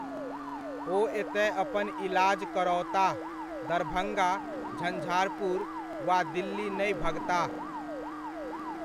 ओ एतय अपन इलाज करओताह, दरभङ्गा, झंझारपुर वा दिल्ली नहि भगताह।